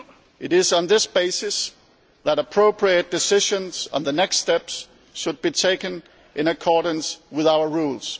It is on this basis that appropriate decisions and the next steps should be taken, in accordance with our rules.